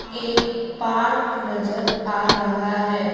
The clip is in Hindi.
एक पार्क नजर आ रहा है।